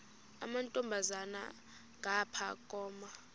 amantombazana ngapha koma